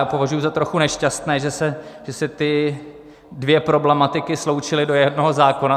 Já považuji za trochu nešťastné, že se ty dvě problematiky sloučily do jednoho zákona.